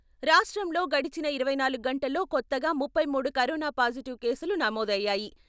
రాష్ట్రంలో గడచిన ఇరవై నాలుగు గంటల్లో కొత్తగా ముప్పైమూడు కరోనా పాజిటివ్ కేసులు నమోదయ్యాయి.